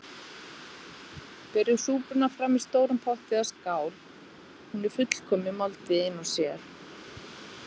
Berið súpuna fram í stórum potti eða skál- hún er fullkomin máltíð ein og sér.